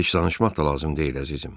Heç danışmaq da lazım deyil, əzizim.